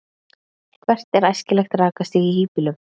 Hvert er æskilegt rakastig í hýbýlum?